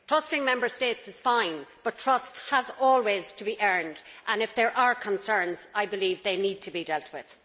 Trusting Member States is fine, but trust has always to be earned and if there are concerns, I believe they need to be dealt with.